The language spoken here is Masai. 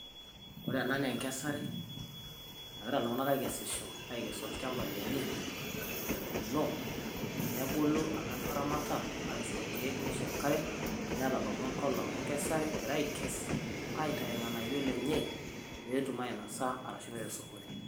Ore enaa nee enkesare najira iltung'anak keikesisho aikees olchamba lenyee otuuno, nebuluu amu etaramata aishoo lkeek neshoo enkaree. Netabaua ngolon enkesaree eigira aikees aitei lng'anayoo lenyee pee etuum ainosaa arashuu peea sokoni.